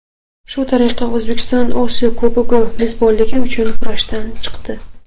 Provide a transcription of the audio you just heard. Shu tariqa O‘zbekiston Osiyo Kubogi mezbonligi uchun kurashdan chiqdi.